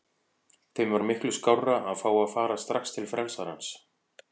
Þeim var miklu skárra að fá að fara strax til frelsarans.